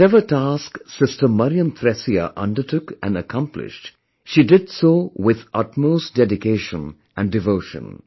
Whatever task Sister Mariam Thresia undertook and accomplished, she did so with utmost dedication and devotion